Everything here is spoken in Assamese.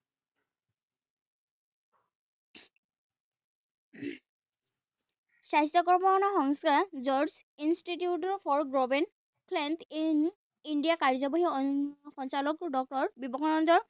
স্বাস্থ্যকৰ্ম সংস্থা George Institute for in India কাৰ্যবাহী সঞ্চালক ডক্তৰ